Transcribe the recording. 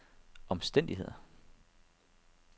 omstændigheder